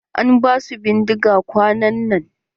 An ba su bindiga kwanan nan.